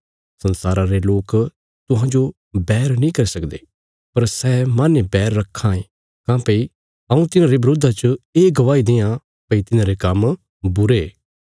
संसारा रे लोक तुहांजो बैर नीं करी सकदे पर सै माहने बैर रक्खां काँह्भई हऊँ तिन्हांरे बरोधा च ये गवाही देआं भई तिन्हांरे काम्म बुरे